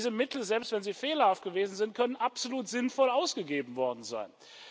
Diese Mittel, selbst wenn sie fehlerhaft gewesen sind, können absolut sinnvoll ausgegeben worden sein.